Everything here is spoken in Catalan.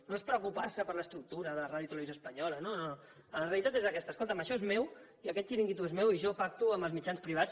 no és preocupar se per l’estructura de radiotelevisió espanyola no no la realitat és aquesta escolta’m això és meu aquest xiringuito és meu i jo pacto amb els mitjans privats